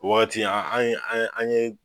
O wagati an ye an ye